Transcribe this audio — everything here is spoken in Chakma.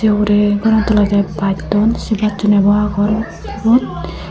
ugure goran tulody basdon se bassun abo agon sebot.